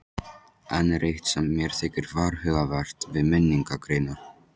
Enn er eitt sem mér þykir varhugavert við minningargreinar.